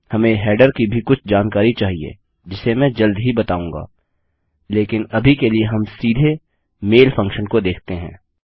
हमें हेडर की भी कुछ जानकारी चाहिए जिसे मैं जल्द ही बताऊंगा लेकिन अभी के लिए हम सीधे मैल फंक्शन को देखते हैं